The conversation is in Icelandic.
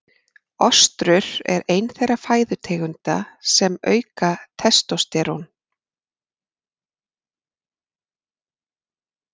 Ostrur er ein þeirra fæðutegunda sem auka testósterón.